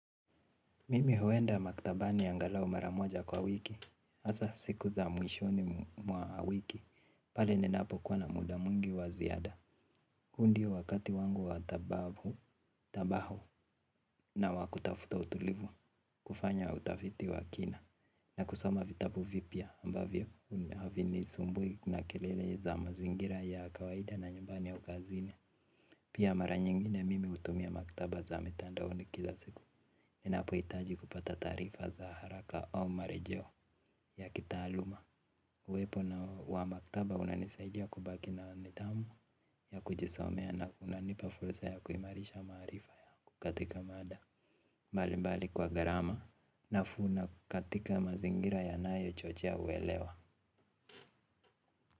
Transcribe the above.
Mimi huenda maktabani angalau maramoja kwa wiki. Asa siku za mwishoni mwa wiki. Pale ninapo kwa na muda mwingi waziada hu ndio wakati wangu wa tabahu na wa kutafuta utulivu. Kufanya utafiti wa kina. Na kusoma vitabu vipya ambavyo havinisumbui na kelele za mazingira ya kawaida na nyumbani au kazini. Pia mara nyingine mimi utumia maktaba za mitandaoni kila siku. Ninapo itaji kupata taarifa za haraka au marejeo ya kitaaluma uwepo na wa maktaba unanisaidia kubaki na nidhamu ya kujisomea na unani pafursa ya kuimarisha maarifa ya kukatika mada. Mbali mbali kwa garama nafuu na katika mazingira yanayo chochea uelewa.